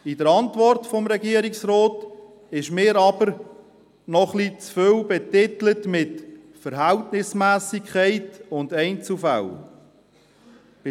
In der Antwort des Regierungsrates ist aus meiner Sicht zu viel mit «Verhältnismässigkeit» und «Einzelfälle» betitelt.